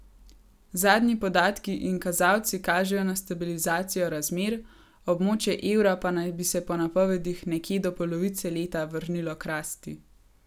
Zadnji podatki in kazalci kažejo na stabilizacijo razmer, območje evra pa naj bi se po napovedih nekje do polovice leta vrnilo k rasti.